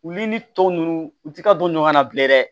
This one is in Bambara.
Wulli ni tɔw nunnu u ti ka don ɲɔgɔn na bilen dɛ